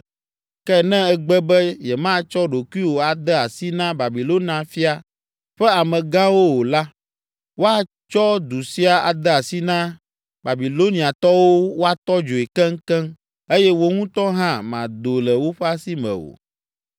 Ke ne ègbe be yematsɔ ɖokuiwò ade asi na Babilonia fia ƒe amegãwo o la, woatsɔ du sia ade asi na Babiloniatɔwo woatɔ dzoe keŋkeŋ eye wò ŋutɔ hã màdo le woƒe asi me o.’ ”